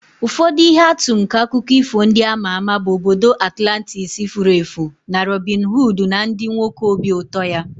Ụfọdụ ihe atụ nke akụkọ ifo ndị a ma ama bụ obodo Atlantis furu efu na Robin Hood na ndị nwoke obi ụtọ ya.